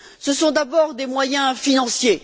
Ce sont d'abord des moyens financiers.